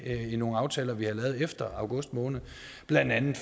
i nogle aftaler vi har lavet efter august måned blandt andet